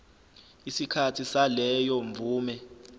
isikhathi saleyo mvume